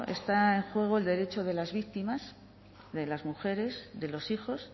está en juego el derecho de las víctimas de las mujeres de los hijos